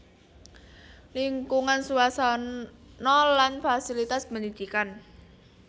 Lingkungan suasana lan fasilitas pendidikan